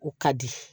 U ka di